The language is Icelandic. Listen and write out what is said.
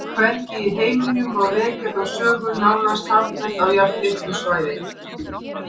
Hvergi í heiminum má rekja þá sögu nánast samfellt á jafnlitlu svæði.